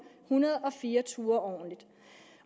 hundrede og fire ture